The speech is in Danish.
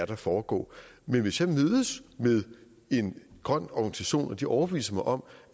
der foregår men hvis jeg mødes med en grøn organisation og de overbeviser mig om